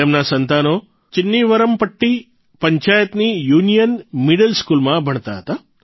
તેમના સંતાનો ચિન્નવિરમપટ્ટી પંચાયતની યુનિયન મિડલ સ્કૂલમાં ભણતા હતા